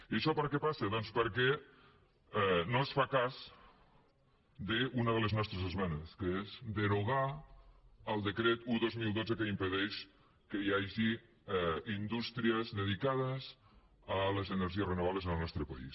i això per què passa doncs perquè no es fa cas d’una de les nostres esmenes que és derogar el decret un dos mil dotze que impedeix que hi hagi indústries dedicades a les energies renovables en el nostre país